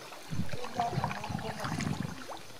Keduoa kuna mpuka